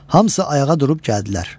Hamısı ayağa durub gəldilər.